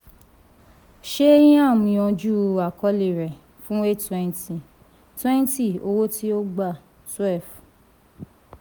shyam yanjú àkọọ́lẹ̀ rẹ̀ fún eight twenty twenty owó tí ó gbà twelve.